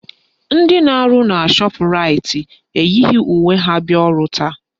Ndị na-arụ na Shọpraịt eyighi uwe ha bịa ọrụ taa.